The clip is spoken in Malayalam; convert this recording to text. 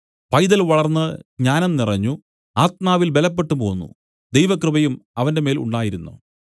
പൈതൽ വളർന്ന് ജ്ഞാനം നിറഞ്ഞു ആത്മാവിൽ ബലപ്പെട്ടുപോന്നു ദൈവകൃപയും അവന്മേൽ ഉണ്ടായിരുന്നു